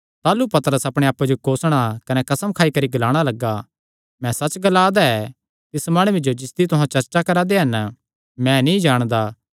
ताह़लू पतरस अपणे आप्पे जो कोसणा कने कसम खाई करी ग्लाणा लग्गा मैं सच्च ग्ला दा ऐ तिस माणुये जो जिसदी तुहां चर्चा करा दे हन नीं जाणदा